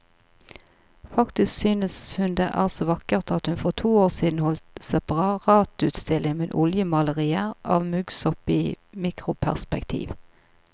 Faktisk synes hun det er så vakkert at hun for to år siden holdt separatutstilling med oljemalerier av muggsopp i mikroperspektiv.